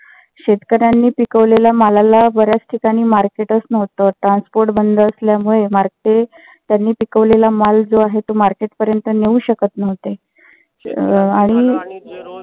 शेतकर्यांनी पिकवलेल्या मालाला बऱ्याच ठिकाणी market च नव्हत. transport बंद असल्यामुळे मार्के त्यांनी पिकवलेला माल जो आहे. ते market पर्यंत नेऊ शकत नव्हते. अं आणि